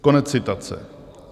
Konec citace.